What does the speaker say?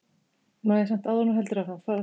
Þar var ég stundum látin skoða klámblöð.